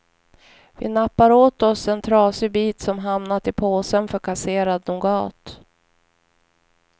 Vi nappar åt oss en trasig bit som hamnat i påsen för kasserad nougat.